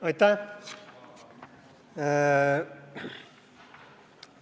Aitäh!